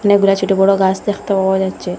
অনেকগুলা ছোটো বড়ো গাস দেখতে পাওয়া যাচ্ছে।